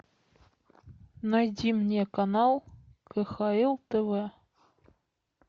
найди мне канал кхл тв